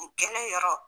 N gɛlɛn yɔrɔ